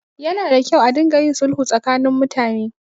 Yana da kyau a ringa yin sulhu tsakanin mutane.